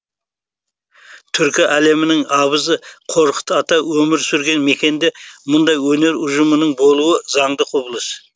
түркі әлемінің абызы қорқыт ата өмір сүрген мекенде мұндай өнер ұжымының болуы заңды құбылыс